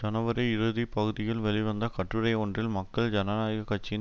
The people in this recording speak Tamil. ஜனவரி இறுதி பகுதியில் வெளிவந்த கட்டுரை ஒன்றில் மக்கள் ஜனநாயக கட்சியின்